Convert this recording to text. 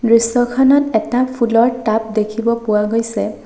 দৃশ্যখনত এটা ফুলৰ টাব দেখিব পোৱা গৈছে।